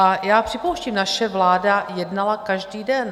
A já připouštím, naše vláda jednala každý den.